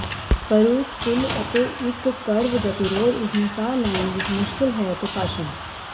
ਕਰੂਪ ਪੁਲ ਅਤੇ ਇੱਕ ਕਰਵ ਗਤੀਰੋਧ ਇਸ ਨੂੰ ਸਾਹ ਲੈਣ ਵਿੱਚ ਮੁਸ਼ਕਲ ਹੈ ਅਤੇ ਭਾਸ਼ਣ